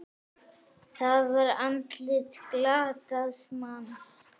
Það var andlit glataðs manns.